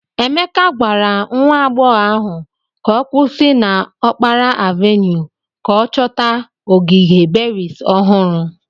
Emeke gwara nwa agbọghọ ahụ ka ọ kwụsị na okpara avenue ka ọ chọta ogige berries ohuru.